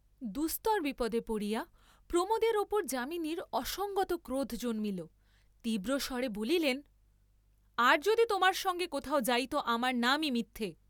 দুস্তর বিপদে পড়িয়া প্রমোদের উপর যামিনীর অসংগত ক্রোধ জন্মিল, তীব্র স্বরে বলিলেন, আর যদি তোমার সঙ্গে কোথাও যাই ত আমার নামই মিথ্যে!